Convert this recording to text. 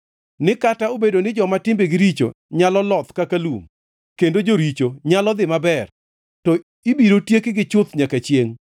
ni kata obedo ni joma timbegi richo nyalo loth kaka lum kendo joricho nyalo dhi maber, to ibiro tiekgi chuth nyaka chiengʼ.